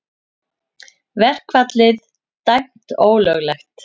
Verkfallið dæmt ólöglegt